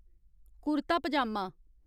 कुरता पजामा